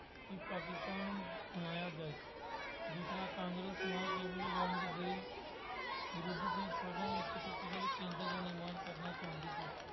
ਕਿ ਪਾਕਿਸਤਾਨ ਬਣਾਇਆ ਜਾਏ। ਦੂਸਰਾ ਕਾਂਗਰਸ ਵੰਡ ਦੇ ਵਿਰੁੱਧ ਨੇਤਾ ਇੱਕ ਸ਼ਕਤੀਸ਼ਾਲੀ ਪਿੰਡ ਦਾ ਨਿਰਮਾਣ ਕਰਨਾ ਚਾਹੁੰਦੀ ਸੀ।